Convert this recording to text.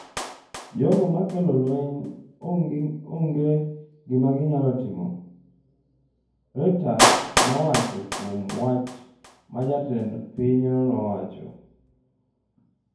jogo ma kelo lweny onge gima ginyalo timo'', Reuters nowuoyo kuom wach ma jatend pinyno nowacho.